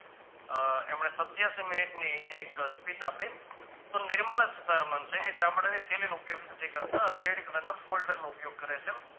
એમને સત્યાશી મિનિટની એક speech આપી તો નિર્મલા સીતારામનછે એ ચામડાની થેલીનો ઉપયોગ નથી કરતો હવે red color ના foldar નો ઉપયોગ કરે છે